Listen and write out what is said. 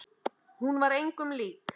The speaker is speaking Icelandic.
Hún var engum lík.